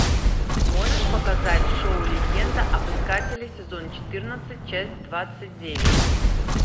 можешь показать шоу легенда об искателе сезон четырнадцать часть двадцать девять